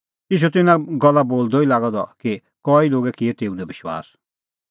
ईशू त इना गल्ला बोलदअ ई लागअ द कि कई लोगै किअ तेऊ दी विश्वास